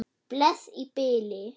Bless í bili.